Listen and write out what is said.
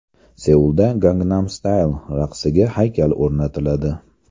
Seulda Gangnam Style raqsiga haykal o‘rnatiladi .